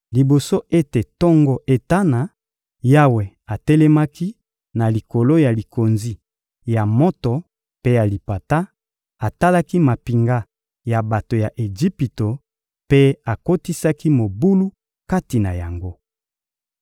Liboso ete tongo etana, Yawe atelemaki na likolo ya likonzi ya moto mpe ya lipata, atalaki mampinga ya bato ya Ejipito mpe akotisaki mobulu kati na yango.